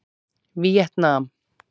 Víetnam